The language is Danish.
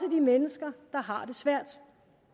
mennesker der har det svært